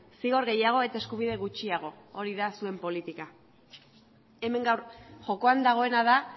zigor gehiago eta eskubide gutxiago hori da zuen politika hemen gaur jokoan dagoena da